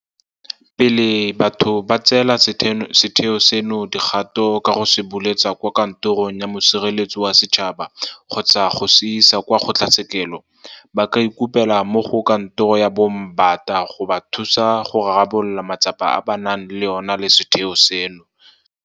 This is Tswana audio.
Pele batho ba tseela setheo seno dikgato ka go se buletsa kwa Kantorong ya Mosireletsi wa Setšhaba kgotsa go se isa kwa kgotlatshekelo, ba ka ikopela mo go Kantoro ya Moombata go ba thusa go rarabolola matsapa a ba nang le ona le setheo seno.